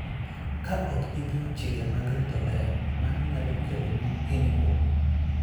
Ka ok ing'eyo chike mag rito ler, mano nyalo keloni hinyruok.